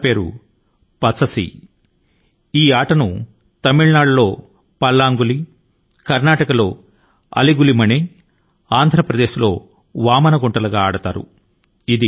దీని ని తమిళ నాడు లో పల్లాన్గులీ అని కర్నాటక లో అలి గులి మణె అని ఆంధ్ర ప్రదేశ్ లో వామనగుంటలు అనే పేరుల తో ఆడడం జరుగుతుంది